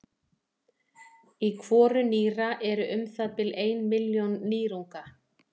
í hvoru nýra eru um það bil ein milljón nýrunga